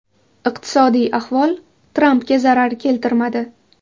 Iqtisodiy ahvol Trampga zarar keltirmadi.